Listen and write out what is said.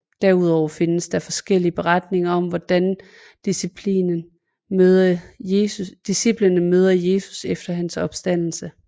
Derudover findes der forskellige beretninger om hvordan disciplene møder Jesus efter hans opstandelse